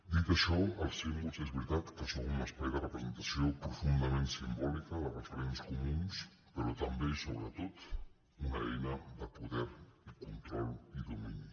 dit això els símbols és veritat que són un espai de representació profundament simbòlica de referents comuns però també i sobretot una eina de poder i control i domini